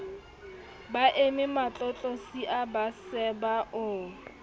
baeme matlotlosia ba seba o